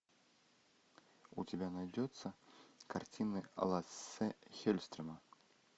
у тебя найдется картины лассе хелльстрема